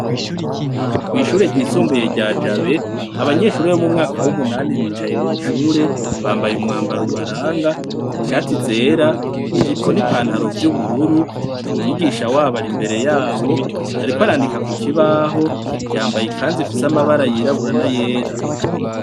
Kw'ishure ryisumbuye rya Jabe, abanyeshure bo mu mwaka w'umunani bicaye mw'ishure bambaye umwambaro ubaranga: ishati zera, ijipo n'ipantaro vy'ubururu. Umwigisha wabo ari imbere yabo ariko arandika ku kibaho yambaye ikanzu ifise amabara yirabura n'ayera.